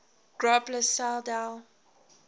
groblersdal